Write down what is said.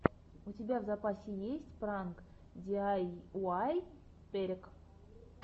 у тебя в запасе есть пранк диайуай перек